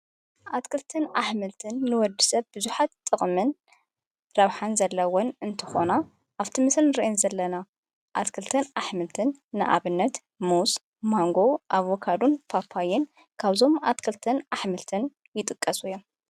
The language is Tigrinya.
ኣትክልትን ኣኅምልትን ንወዲ ሰብ ብዙኃት ጥቕምን ራብኃን ዘለውን እንተኾና ኣብቲምስን ርየን ዘለና ኣትክልትን ኣኅምልትን ንኣብነት ሙስ ማንጎ ኣብካዱን ፋፋይን ካብዞም ኣትክልተን ኣኅምልትን ይጥቀሱ እዮም ::